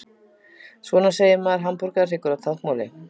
Svona segir maður hamborgarhryggur á táknmáli.